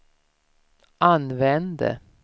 använde